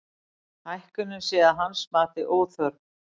Hækkunin sé að hans mati óþörf